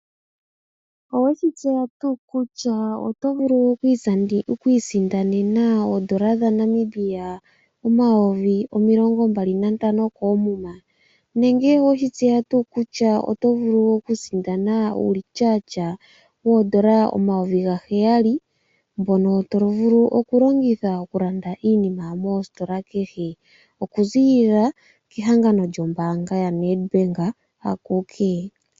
Oweshi tseya tuu kutya oto vulu oku isindanena oondola dhaNamibia omayovi omilongo mbali nantano koomuma. Nenge oweshi tseya tuu kutya oto vulu oku sindana uulityatya woondola omayovi gaheyali, mbono to vulu oku longitha oku landa iinima moositola kehe oku ziilila kehangano lyombaanga yaNedbank akuke.